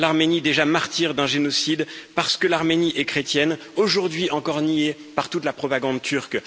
À l'Arménie déjà martyr d'un génocide, parce que l'Arménie est chrétienne, aujourd'hui encore niée par toute la propagande turque.